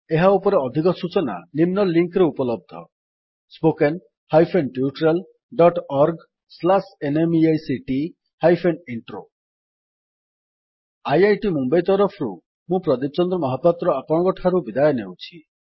ଏହା ଉପରେ ଅଧିକ ସୂଚନା ନିମ୍ନ ଲିଙ୍କରେ ଉପଲବ୍ଧ spoken hyphen tutorial dot org slash NMEICT hyphen intro spoken tutorialorgnmeict intro IIT Mumbai ତରଫରୁ ମୁଁ ପ୍ରଦୀପ ଚନ୍ଦ୍ର ମହାପାତ୍ର ଆପଣଙ୍କଠାରୁ ବିଦାୟ ନେଉଛି